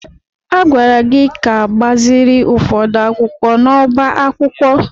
A gwara gị ka gbaziri ụfọdụ akwụkwọ n'ọbá akwụkwọ!